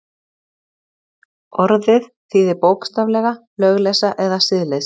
Orðið þýðir bókstaflega lögleysa eða siðleysi.